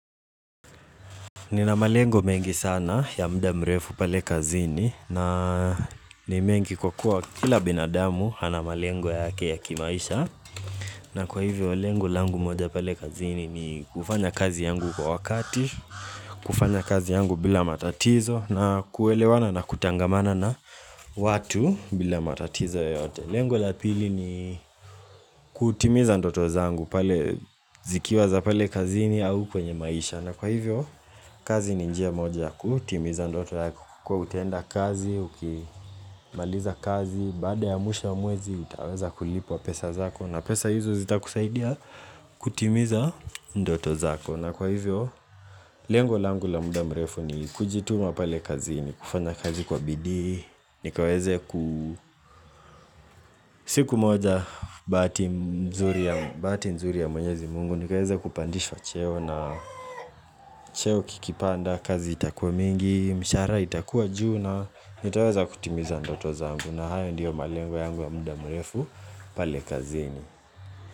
Nina malengo mengi sana ya muda mrefu pale kazini na ni mengi kwa kua kila binadamu ana malengo yake ya kimaisha na kwa hivyo lengo langu moja pale kazini ni kufanya kazi yangu kwa wakati, kufanya kazi yangu bila matatizo na kuelewana na kutangamana na watu bila matatizo yoyote Lengo la pili ni kutimiza ndoto zangu pale zikiwa za pale kazini au kwenye maisha na kwa hivyo, kazi ni njia moja ya kutimiza ndoto zangu kwa kutenda kazi, ukimaliza kazi Baada ya mwisho wa mwezi, utaweza kulipwa pesa zako na pesa hizo zitakusaidia kutimiza ndoto zako na kwa hivyo, lengo la angu la muda mrefu ni kujituma pale kazini, kufanya kazi kwa bidi nikaweze ku siku moja Bahati mzuri ya mwenyezi mungu nikaweze kupandishwa cheo na cheo kikipanda kazi itakuwa mingi Mshahara itakuwa juu na nitaweza kutimiza ndoto zangu na hayo ndio malengo yangu ya muda mrefu pale kazini.